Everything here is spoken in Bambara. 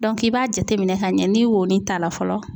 i b'a jate minɛn k'a ɲɛ ni wonin t'a la fɔlɔ.